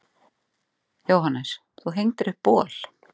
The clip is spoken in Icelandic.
Jóhannes: Þú hengdir upp bol?